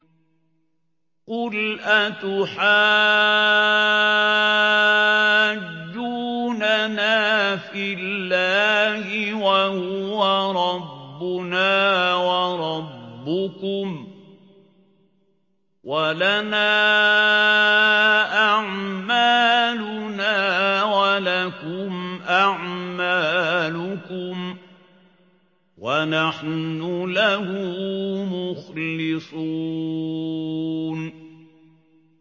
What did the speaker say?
قُلْ أَتُحَاجُّونَنَا فِي اللَّهِ وَهُوَ رَبُّنَا وَرَبُّكُمْ وَلَنَا أَعْمَالُنَا وَلَكُمْ أَعْمَالُكُمْ وَنَحْنُ لَهُ مُخْلِصُونَ